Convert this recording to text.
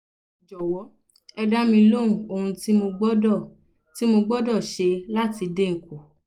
jọ̀wọ́ ẹ dá mi lóhùn ohun tí mo gbọdọ̀ tí mo gbọdọ̀ ṣe láti dín in kù